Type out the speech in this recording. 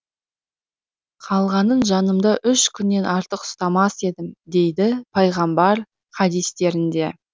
қалғанын жанымда үш күннен артық ұстамас едім дейді пайғамбар хадистерінде